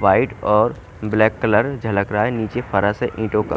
white और black colour झलक रहा है नीचे ईटों का --